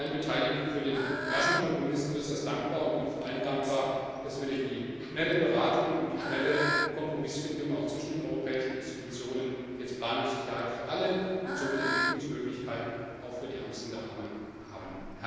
Ich bin allen Beteiligten für den raschen Kompromiss äußerst dankbar und bin vor allem dankbar, dass wir durch die schnelle Beratung und die schnelle Kompromissfindung auch zwischen den europäischen Institutionen jetzt Planungssicherheit für alle und somit Entwicklungsmöglichkeiten auch für die Ärmsten der Armen haben.